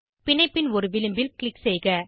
பிணைப்பின் ஒரு விளிம்பில் க்ளிக் செய்க